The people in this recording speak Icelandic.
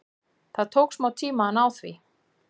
Það tók smá tíma að ná því.